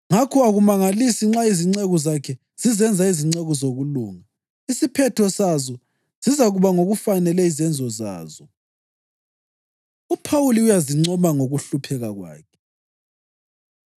Ngakho akumangalisi nxa izinceku zakhe zizenza izinceku zokulunga. Isiphetho sazo sizakuba ngokufanele izenzo zazo. UPhawuli Uyazincoma Ngokuhlupheka Kwakhe